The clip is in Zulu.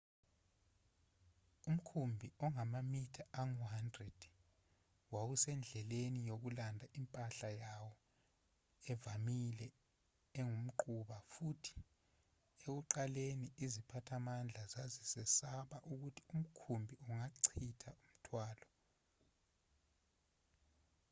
umkhumbi ongamamitha angu-100 wawusendleleni yokulanda impahla yawo evamile engumquba futhi ekuqaleni iziphathimandla zazesaba ukuthi umkhumbi ungachitha umthwalo